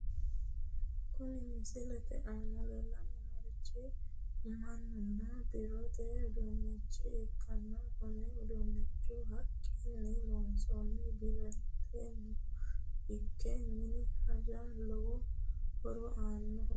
Kuni misilete aana leellanni noorichi muninna biirote uduunnicho ikkanna konne uduunnichono haqquni loonsanniho, biiroteno ikko mini hajaro lowo horo aannoho.